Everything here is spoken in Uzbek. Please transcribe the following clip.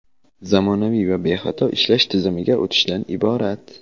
zamonaviy va bexato ishlash tizimiga o‘tishdan iborat.